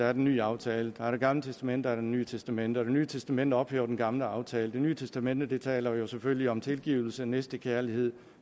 er den nye aftale der er det gamle testamente og det nye testamente og det nye testamente ophæver den gamle aftale det nye testamente taler jo selvfølgelig om tilgivelse og næstekærlighed